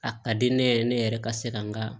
A ka di ne yɛrɛ ne yɛrɛ ka se ka n ka